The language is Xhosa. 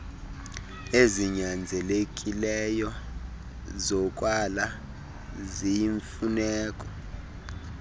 ezinyanzelekileyo zokwala ziyimfuneko